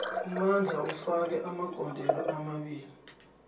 umandla ufake amagondelo amabili